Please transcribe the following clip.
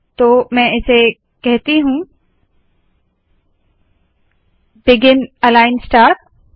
तो मैं इसे कहती हूँ बिगिन अलाइन स्टार